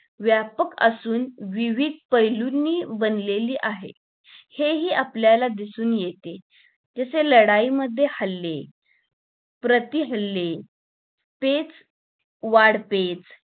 व्यापक असून जीविक पहेली बनलेली आहे हे हि आपल्याला दिसून येते जरासे लढाई मध्ये हल्ले प्रति हल्ले पेच वाढपेच